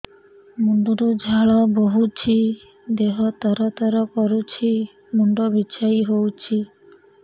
ମୁଣ୍ଡ ରୁ ଝାଳ ବହୁଛି ଦେହ ତର ତର କରୁଛି ମୁଣ୍ଡ ବିଞ୍ଛାଇ ହଉଛି